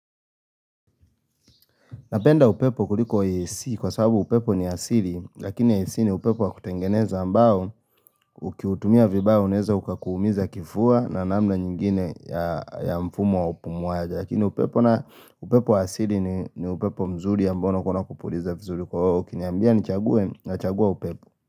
Napenda upepo kuliko AC kwa sababu upepo ni asili lakini ACi ni upepo wa kutengeneza ambao ukiutumia vibaya uneza uka kuumiza kifua na namna nyingine ya mfumo wa upumuaji lakini upepo na upepo asili ni upepo mzuri ya ambao kuna kupuliza vizuri kwa oo ukiniambia ni chagwe na chagwa upepo.